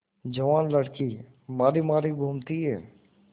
जवान लड़की मारी मारी घूमती है